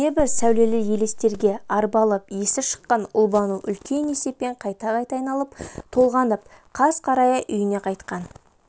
небір сәулелі елестерге арбалып есі шыққан ұлбану үлкен есеппен қайта-қайта айналып-толғанып қас қарая үйіне қайтқан